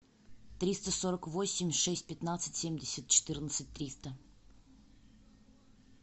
триста сорок восемь шесть пятнадцать семьдесят четырнадцать триста